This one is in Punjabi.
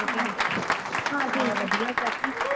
ਹੋਰ ਫੇਰ ਹਾਂ ਵਧੀਆ ਚਾਚੀ